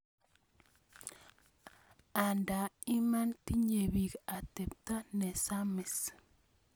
Anda Iman tinye piik atepto nesamis